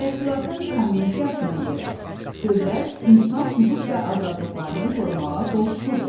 Təşkilatın konvensiyasına görə, dövlət insan hüquq və azadlıqlarını qorumağa borcludur.